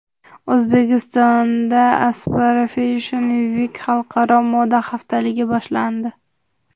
O‘zbekistonda Aspara Fashion Week xalqaro moda haftaligi boshlandi .